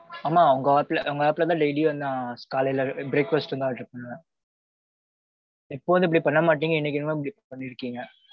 ஆமாம் உங்க app ல உங்க app ல தான் daily நான் காலையில breakfast தான் order பண்ணுவேன். எப்போதும் இப்பிடி பண்ண மாட்டிங்க. இன்னிக்கி என்னம்மோ இப்பிடி பண்ணிருக்கிங்க